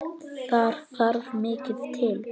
Þar þarf mikið til.